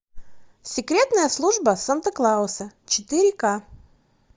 секретная служба санта клауса четыре ка